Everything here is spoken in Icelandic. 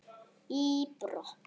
í brott.